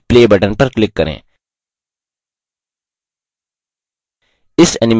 जिसे आपने जोड़ा है उस animation का निरीक्षण करने के लिए play button पर click करें